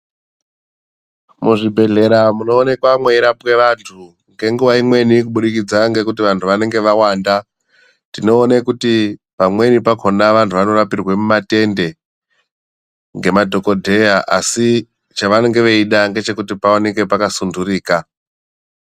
Muzvibhehlera munoonekwa mweirapwe vantu ngenguwa imweni kuburikidza ngekuti vantu vanenge vawanda, tinoone kuti pamweni pakona vantu vanorapirwe mumatende nemadhokodheya asi chavanonge veida ngechekuti paoneke pakasundurika.